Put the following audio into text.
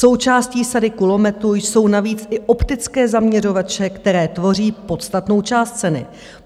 Součástí sady kulometu jsou navíc i optické zaměřovače, které tvoří podstatnou část ceny.